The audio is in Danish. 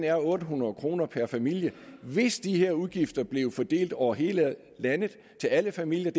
er otte hundrede kroner per familie hvis de her udgifter bliver fordelt over hele landet til alle familier